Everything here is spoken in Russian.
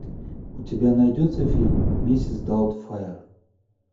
у тебя найдется фильм миссис даутфайр